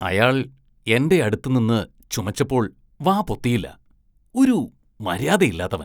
അയാള്‍ എന്റെയടുത്ത് നിന്ന് ചുമച്ചപ്പോള്‍ വാ പൊത്തിയില്ല. ഒരു മര്യാദയില്ലാത്തവന്‍.